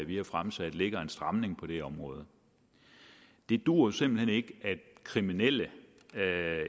vi har fremsat ligger en stramning på det område det duer jo simpelt hen ikke at kriminelle